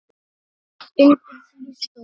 Undir því stóð